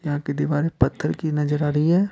यहां की दीवारें पत्थर की नजर आ रही है।